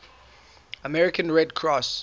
american red cross